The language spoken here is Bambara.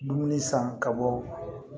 Dumuni san ka bɔ